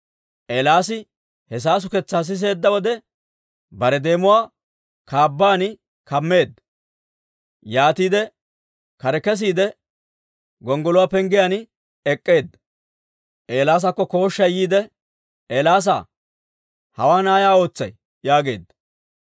Eelaasi he saasuketsaa siseedda wode, bare deemuwaa kaabban kammeedda. Yaatiide kare kesiide gonggoluwaa penggiyaan ek'k'eedda. Eelaasakko kooshshay yiide, «Eelaasaa, hawaan ay ootsay?» yaageedda.